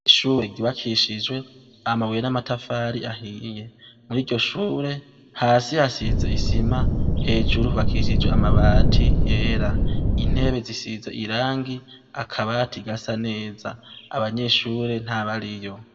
Ishure ryubakishijwe amabuye n'amatafari ahiye. Mw'iryo shure hasi hasize isima, hejuru hubakishije amabati yera. Intebe zisize irangi, akabati gasa neza. Abanyeshure ntabariyo.